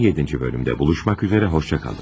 17-ci bölümde buluşmaq üzərə xoşca qalın.